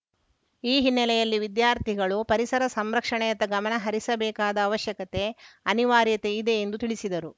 ಈ ಹಿನ್ನೆಲೆಯಲ್ಲಿ ವಿದ್ಯಾರ್ಥಿಗಳು ಪರಿಸರ ಸಂರಕ್ಷಣೆಯತ್ತ ಗಮನ ಹರಿಸಬೇಕಾದ ಅವಶ್ಯಕತೆ ಅನಿವಾರ್ಯತೆ ಇದೆ ಎಂದು ತಿಳಿಸಿದರು